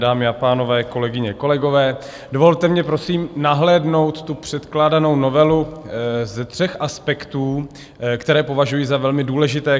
Dámy a pánové, kolegyně, kolegové, dovolte mi prosím nahlédnout tu předkládanou novelu ze tří aspektů, které považuji za velmi důležité.